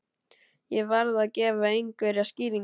Ég varð að gefa einhverja skýringu.